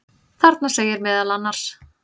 Þarna segir meðal annars: